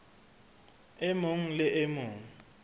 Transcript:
e mong le e mong